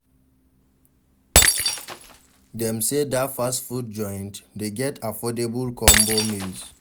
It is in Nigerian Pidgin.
Dem sey dat fast food joint dey get affordable combo meals.